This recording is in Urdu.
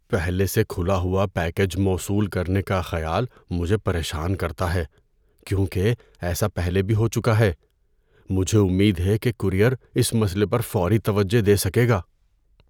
پہلے سے کھلا ہوا پیکیج موصول کرنے کا خیال مجھے پریشان کرتا ہے کیونکہ ایسا پہلے بھی ہو چکا ہے۔ مجھے امید ہے کہ کورئیر اس مسئلے پر فوری توجہ دے سکے گا۔